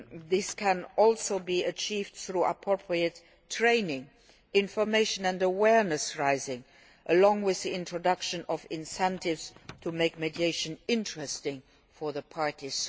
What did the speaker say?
This can also be achieved through appropriate training, information and awareness raising, along with the introduction of incentives to make mediation interesting for the parties.